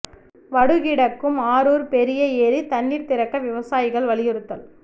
வடு கிடக்கும் அரூா் பெரிய ஏரி தண்ணீா் திறக்க விவசாயிகள் வலியுறுத்தல்